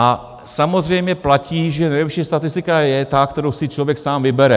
A samozřejmě platí, že nejlepší statistika je ta, kterou si člověk sám vybere.